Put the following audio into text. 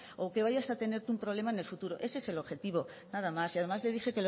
o que vayas a tener tú un problema en el futuro ese es el objetivo nada más además le dije